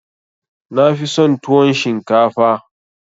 Na fi son tuwon shinkafa